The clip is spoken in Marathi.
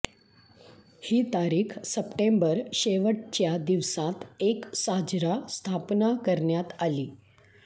ही तारीख सप्टेंबर शेवटच्या दिवसांत एक साजरा स्थापना करण्यात आली